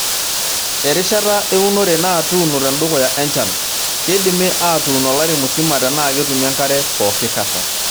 Erishata eunore naa tuuno tendukiya enchan. keidimi aatun olari musima tenaa ketumi enkare pooki kata.